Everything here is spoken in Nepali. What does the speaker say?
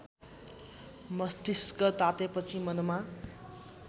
मस्तिष्क तातेपछि मनमा